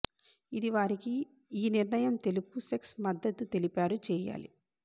ఇది వారికి ఈ నిర్ణయం తెలుపు సెక్స్ మద్దతు తెలిపారు చేయాలి